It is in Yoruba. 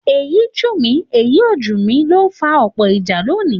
Èyí jù mí èyí ò jù mí ló ń fa ọ̀pọ̀ ìjà lónìí